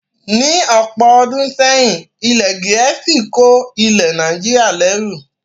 Ní ọ̀pọ̀ ọdún sẹ́yìn, ilẹ̀ Gẹ̀ẹ́sì ko ilẹ̀ Nàìjíríà lẹru